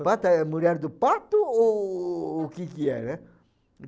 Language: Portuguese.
Pata é mulher do pato ou o que que é, né?